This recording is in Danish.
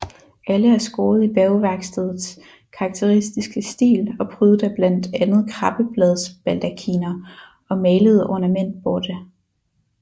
Alle er skåret i Bergværkstedets karakteristiske stil og prydet af blandt andet krabbebladsbaldakiner og malede ornamentborte